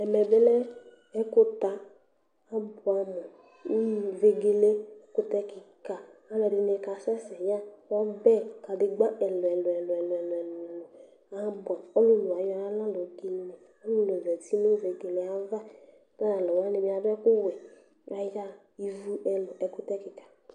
Ɛmɛ bi lɛ ɛku ta Abuɛamu Unyi vegele ɛkutɛ kika alu ɛdini kasɛsɛ yaɣa ɔbɛ kadegba ɛlu ɛlu Abuɛ Ɔlulu wani ayaɣa ɔlulu za uti nu vegele yɛava'Ku ɔlulu wani bi adu ɛku ɔwɛ Ayaɣa Ivu ɛlu Ɛkutɛ kika